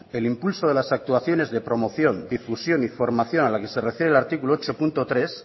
el impulso de las actuaciones de promoción difusión y formación a la que se refiere el artículo ocho punto tres